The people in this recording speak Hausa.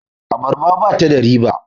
abarbar ba ta da riba?